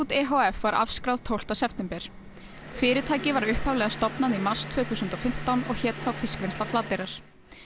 e h f var afskráð tólfta september fyrirtækið var upphaflega stofnað í mars tvö þúsund og fimmtán og hét þá fiskvinnsla Flateyrar